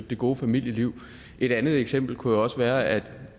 det gode familieliv et andet eksempel kunne jo også være at